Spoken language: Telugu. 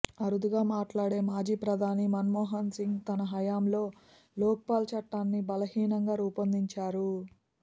అరుదుగా మాట్లాడే మాజీ ప్రధాని మన్మోహన్ సింగ్ తన హయాంలో లోక్పాల్ చట్టాన్ని బలహీనంగా రూపొందించారు